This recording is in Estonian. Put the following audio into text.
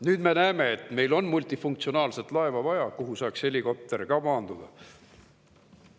Nüüd me näeme, et meil on vaja multifunktsionaalset laeva, kuhu saaks ka helikopter maanduda.